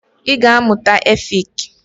Ị ga amụta efik!